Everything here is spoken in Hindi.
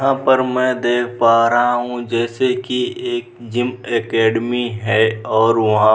यहाँ पर मैं देख पा रहा हूँ जैसे कि एक जीम अकेडेमी है और वहाँ --